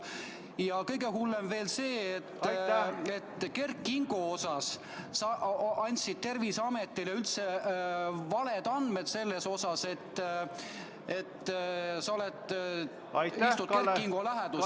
Ja kõige hullem on veel see, et Kert Kingo kohta sa andsid Terviseametile valed andmed, väites, et sa istud Kert Kingo läheduses.